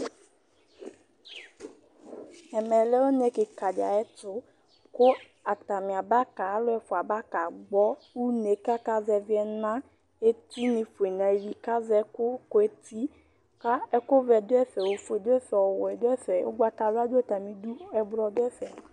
Ɛmɛlɛ une kika di ayʋ ɛtʋ, kʋ alʋ ɛfʋa abakagbɔ une kazɛvi ɛna Etini kefʋe owʋ kʋ eti kʋ ɛkʋvɛ dʋ ɛfɛ, ofue dʋ ɛfɛ, ɔwɛ dʋ ɛfɛ, ʋgbatawla dʋ atami idʋ ɛblɔ dʋ ɛfɛ